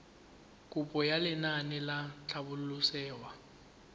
kopo ya lenaane la tlhabololosewa